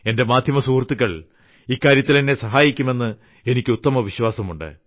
എന്റെ മാധ്യമസുഹൃത്തുക്കൾ ഇക്കാര്യത്തിൽ എന്നെ സഹായിക്കും എന്ന് എനിക്ക് ഉത്തമ വിശ്വാസമുണ്ട്